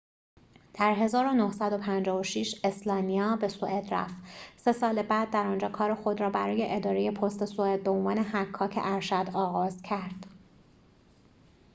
در ۱۹۵۶ اسلانیا به سوئد رفت سه سال بعد در آنجا کار خود را برای اداره پست سوئد به عنوان حکاک ارشد آغاز کرد